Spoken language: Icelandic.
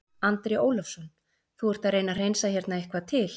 Andri Ólafsson: Þú ert að reyna að hreinsa hérna eitthvað til?